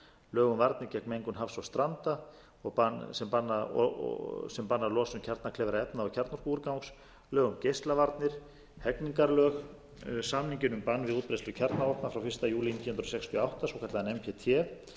lög um varnir gegn mengun hafs og stranda sem banna losun kjarnakleyfra efna og kjarnorkuúrgangs lög um geislavarnir hegningarlög samninginn um bann við útbreiðslu kjarnavopna frá fyrsta júlí